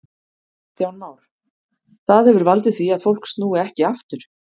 Kristján Már: Það hefur valdið því að fólk snúi ekki aftur?